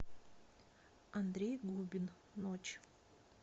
андрей губин ночь